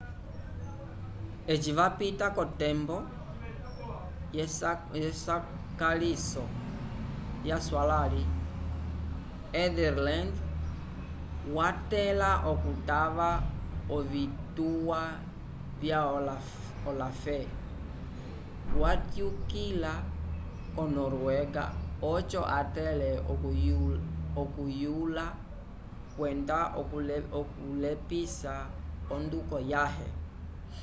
eci vapita k'otembo yesakaliso yaswalãli ethelred watẽla okutava ovituwa vya olaf watyukila ko-noruega oco atẽle okuyula kwenda okulepisa onduko yãhe